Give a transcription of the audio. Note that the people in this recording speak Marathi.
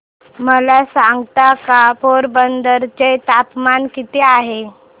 मला सांगता का पोरबंदर चे तापमान किती आहे